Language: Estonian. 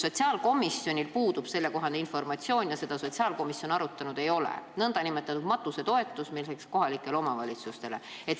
Sotsiaalkomisjonil puudub selle kohta informatsioon ja sotsiaalkomisjon seda arutanud ei ole, nn matusetoetust, mis läheks kohalikele omavalitsustele.